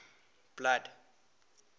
blood